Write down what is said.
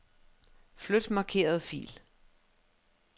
Flyt markerede fil.